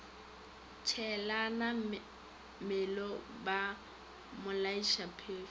tšeelana mello ba mmolaiša phefo